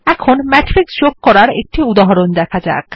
এখন মেট্রিক্স যোগ করার একটি উদাহরণ দেখা যাক